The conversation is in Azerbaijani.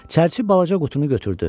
Çərçi balaca qutunu götürdü.